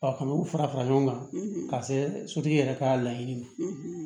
A kɔni u fara fara ɲɔgɔn kan ka se sotigi yɛrɛ ka laɲini ye